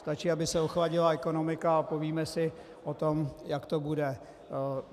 Stačí, aby se ochladila ekonomika, a povíme si o tom, jak to bude.